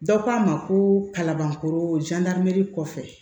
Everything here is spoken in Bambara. Dɔ k'a ma ko kalabankoro kɔfɛ